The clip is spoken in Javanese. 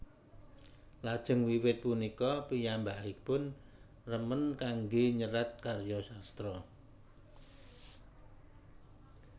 Lajeng wiwit punika piyambakipun remen kanggé nyerat karya sastra